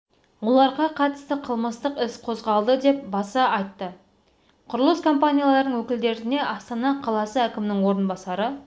оларға қатысты қылмыстық із қозғалды деп баса айтты құрылыс компанияларының өкілдеріне астана қаласы әкімінің орынбасары